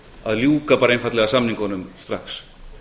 að ljúka bara einfaldlega samningunum strax